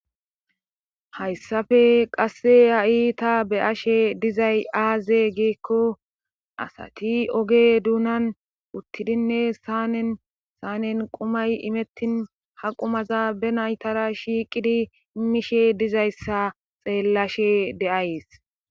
hayssafe qasse ha iita be ashe dizay aaze geekko asati oge duunan uttidinne sanen saanen qumay imettin haqumaza be naytara shiiqidi mishe dizayssa xeellashe deays